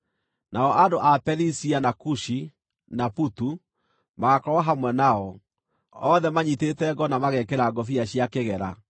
Nao andũ a Perisia, na Kushi, na Putu magaakorwo hamwe nao, othe manyiitĩte ngo na magekĩra ngũbia cia kĩgera,